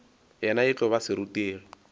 yena e tlo ba serutegi